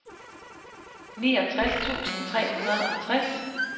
niogtres tusind tre hundrede og tres